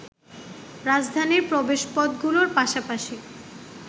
রাজধানীর প্রবেশপথগুলোর পাশাপাশি